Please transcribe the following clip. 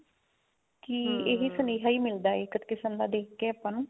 ਜੀ ਸੁਨੇਹਾ ਹੀ ਮਿਲਦਾ ਇੱਕ ਕਿਸਮ ਦਾ ਦੇਖ ਕੇ ਆਪਾਂ ਨੂੰ